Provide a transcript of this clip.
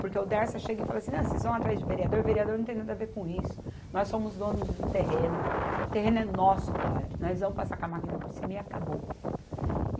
Porque o Dersa chega e fala assim, vocês vão atrás de vereador, vereador não tem nada a ver com isso, nós somos donos do terreno, o terreno é nosso agora, nós vamos passar com a máquina por cima e acabou.